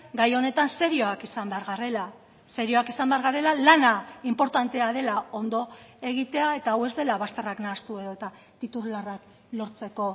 gai honetan serioak izan behar garela serioak izan behar garela lana inportantea dela ondo egitea eta hau ez dela bazterrak nahastu edota titularrak lortzeko